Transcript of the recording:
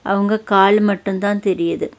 அவங்க கால் மட்டும் தான் தெரியிது.